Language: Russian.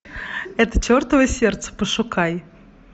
это чертово сердце пошукай